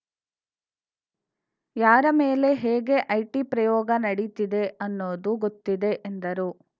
ಯಾರ ಮೇಲೆ ಹೇಗೆ ಐಟಿ ಪ್ರಯೋಗ ನಡಿತಿದೆ ಅನ್ನೋದು ಗೊತ್ತಿದೆ ಎಂದರು